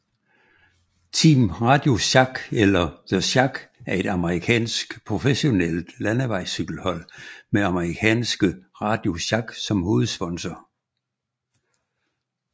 Team RadioShack eller The Shack er et amerikansk professionelt landevejscykelhold med amerikanske RadioShack som hovedsponsor